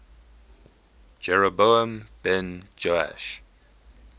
jeroboam ben joash